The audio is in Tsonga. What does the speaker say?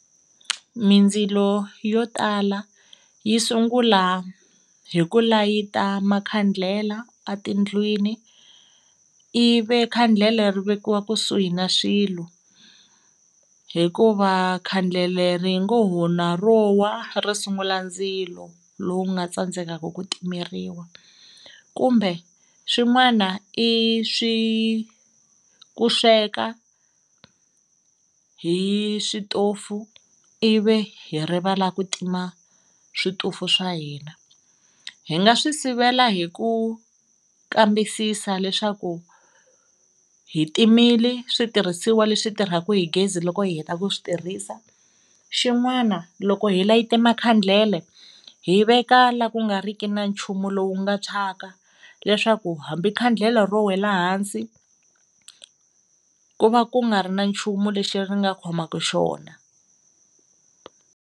Mindzilo yo tala yi sungula hi ku layita makhandlela a tindlwini ivi khandlele ri vekiwa kusuhi na swilo hikuva khandlele ri nga ho na ro wa ri sungula ndzilo lowu nga tsandzekaka ku timeriwa, kumbe swin'wana i swi ku sweka hi switofu ivi hi rivala ku tima switofu swa hina. Hi nga swi sivela hi ku kambisisa leswaku hi timile switirhisiwa leswi tirhaka hi gezi loko hi heta ku swi tirhisa, xin'wana loko hi layite makhandlele hi veka la ku nga riki na nchumu lowu nga tshwaka leswaku hambi khandlele ro wela ehansi ku va ku nga ri na nchumu lexi ri nga khomaku xona.